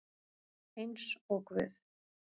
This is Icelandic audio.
Eins og guð